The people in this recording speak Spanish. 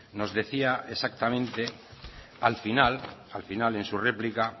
nos decía exactamente al final en su réplica